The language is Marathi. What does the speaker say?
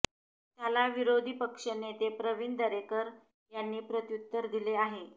त्याला विरोधी पक्ष नेते प्रवीण दरेकर यांनी प्रत्युत्तर दिले आहे